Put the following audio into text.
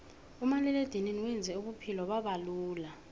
umaliledinini wenze ubuphulo babalula